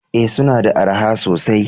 Ee, suna da araha sosai?